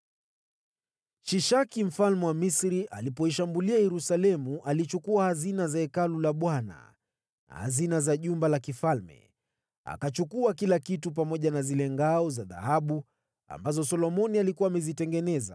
Shishaki mfalme wa Misri alipoishambulia Yerusalemu, alichukua hazina za Hekalu la Bwana na hazina za jumba la kifalme. Akachukua kila kitu, pamoja na zile ngao za dhahabu ambazo Solomoni alikuwa amezitengeneza.